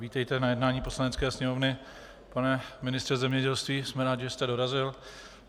Vítejte na jednání Poslanecké sněmovny, pane ministře zemědělství, jsme rádi, že jste dorazil.